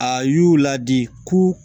A y'u ladi ko